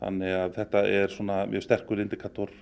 þetta er sterkur